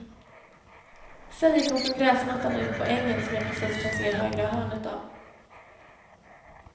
Sedan gick hon från gräsmattan ut på ängen, som jag precis kan se högra hörnet av.